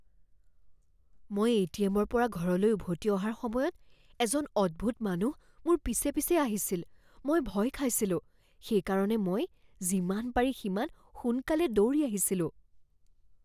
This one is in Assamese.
মই এ.টি.এম.ৰ পৰা ঘৰলৈ উভতি অহাৰ সময়ত এজন অদ্ভূত মানুহ মোৰ পিছে পিছে আহিছিল। মই ভয় খাইছিলোঁ, সেইকাৰণে মই যিমান পাৰি সিমান সোনকালে দৌৰি আহিছিলোঁ।